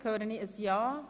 – Das ist der Fall.